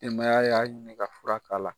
y'a ɲinin ka fura k'a la.